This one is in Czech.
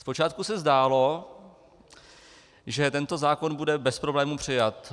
Zpočátku se zdálo, že tento zákon bude bez problému přijat.